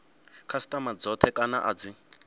khasitama dzothe kana a dzi